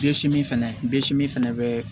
fɛnɛ bɛ si min fɛnɛ bɛ